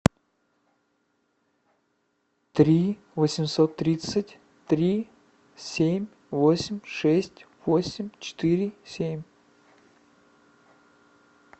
три восемьсот тридцать три семь восемь шесть восемь четыре семь